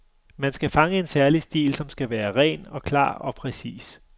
Man skal fange en særlig stil, som skal være ren og klar og præcis.